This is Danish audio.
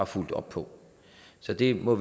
fulgt op på så vi må